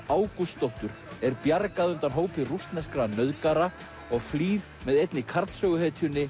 Ágústsdóttur er bjargað undan hópi rússneskra nauðgara og flýr með einni